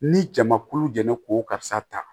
Ni jama kulu jɛnna k'o karisa ta